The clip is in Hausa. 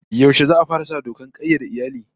Yaushe za'a fara sa dokar kayyade iyali?